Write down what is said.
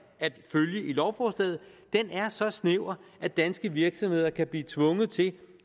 at følge i lovforslaget er så snæver at danske virksomheder kan blive tvunget til